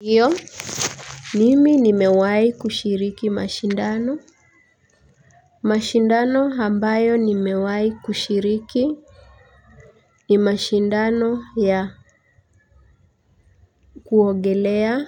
Hiyo mimi nimewahi kushiriki mashindano. Mashindano ambayo nimewahi kushiriki ni mashindano ya kuogelea.